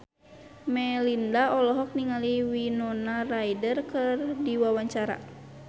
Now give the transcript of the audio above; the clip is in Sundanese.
Melinda olohok ningali Winona Ryder keur diwawancara